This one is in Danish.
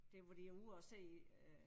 Det hvor de er ude og se øh